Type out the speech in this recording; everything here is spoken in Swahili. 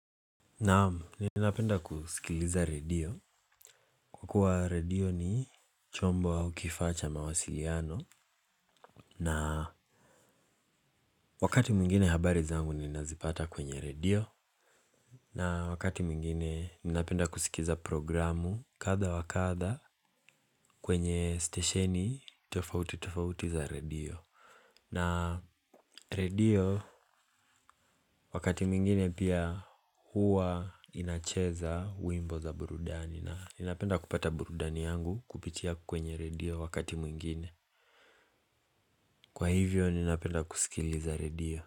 Naam, ninapenda kusikiliza radio, kwa kuwa radio ni chombo au kifaa cha mawasiliano. Na wakati mwingine habari zangu ninazipata kwenye radio. Na wakati mwingine ninapenda kusikiza programu kadha wa kadha kwenye stesheni tofauti tofauti za radio. Na radio, wakati mwingine pia huwa inacheza wimbo za burudani. Na ninapenda kupata burudani yangu kupitia kwenye radio wakati mwingine. Kwa hivyo, ninapenda kusikiliza radio.